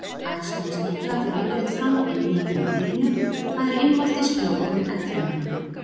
Æxlun snigla fer yfirleitt fram inni í kvendýrinu, það er innvortis frjóvgun eggfrumanna.